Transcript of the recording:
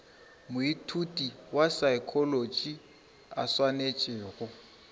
moithuti wa saekholotši a swanetšego